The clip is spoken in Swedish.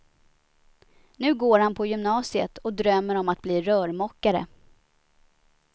Nu går han på gymnasiet och drömmer om att bli rörmokare.